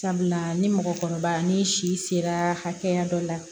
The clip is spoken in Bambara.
Sabula ni mɔgɔkɔrɔba ni si sera hakɛya dɔ la